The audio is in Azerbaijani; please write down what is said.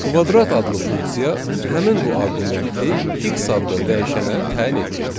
Kvadrat adlı funksiya həmin bu arqumenti x adlı dəyişənə təyin etdi.